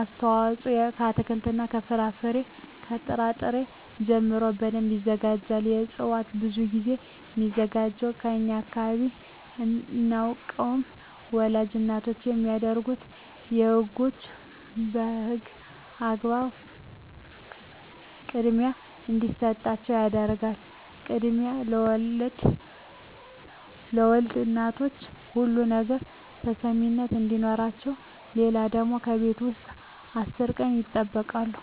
አስተዋጽኦ ከአትክልት ከፍራፍሬ ከጥራ ጥሪ ጀምሮ በደንብ ይዘጋጃል ከእጽዋት ብዙ ግዜ ሚዘጋጅላቸው በእኛ አካባቢ አናውቀውም ወላድ እናቶች የሚደረግላቸው በህጎች በህግ አግባብ ክድሚያ እንዲሰጣቸው ይደረጋል ክድሚያ ለወልድ እናቶች ሁሉ ነገር ተሰሚነት አዲኖረቸው ሌለው ደግሞ ከቤት ውስጥ አስር ቀን ይጠበቃሉ